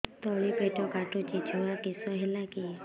ତଳିପେଟ କାଟୁଚି ଛୁଆ କିଶ ହେଲା କି